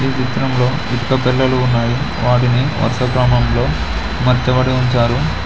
ఈ చిత్రంలో ఇటుక పేలాలు ఉన్నాయి వాటిని వర్షా క్రమంలో అమర్చబడి ఉంచారు.